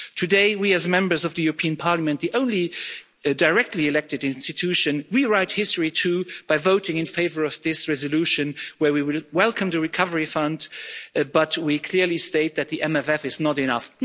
Today, we as Members of the European Parliament, the only directly elected EU institution, write history too by voting in favour of this resolution, where we welcome the Recovery Fund but we clearly state that this MFF is not enough.